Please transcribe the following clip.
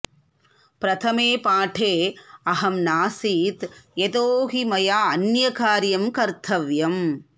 प्रथमे पाठे अहं नासीत् यतो हि मया अन्यकार्यं कर्तव्यम्